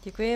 Děkuji.